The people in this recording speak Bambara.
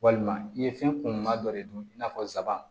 Walima i ye fɛn kunuman dɔ de dun i n'a fɔ nsaban